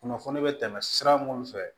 Kunnafoni be tɛmɛ sira minnu fɛ